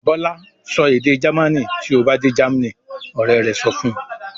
"Bọ́lá sọ èdè Jamaní tí ó bá dé Germany!" Ọ̀rẹ́ rẹ̀ sọ fún un.